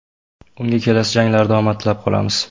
Unga kelasi janglarda omad tilab qolamiz!